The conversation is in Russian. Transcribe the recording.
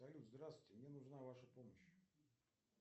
салют здравствуйте мне нужна ваша помощь